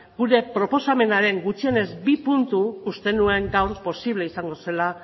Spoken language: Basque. gure proposamenaren gutxienez bi punturekin uste nuen gaur posible izango zela